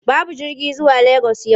Babu jirgi zuwa Legas yau.